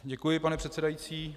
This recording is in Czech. Děkuji, pane předsedající.